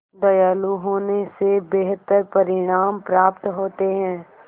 दयालु होने से बेहतर परिणाम प्राप्त होते हैं